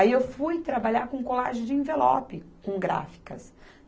Aí eu fui trabalhar com colagem de envelope, com gráficas.